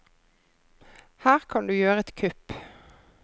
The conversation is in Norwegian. Her kan du gjøre et kupp.